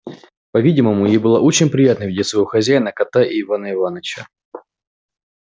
по-видимому ей было очень приятно видеть своего хозяина кота и ивана иваныча